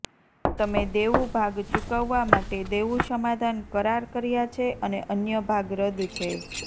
તમે દેવું ભાગ ચૂકવવા માટે દેવું સમાધાન કરાર કર્યા છે અને અન્ય ભાગ રદ છે